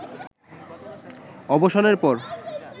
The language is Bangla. অবসানের পর